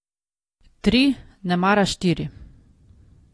Tri, nemara štiri.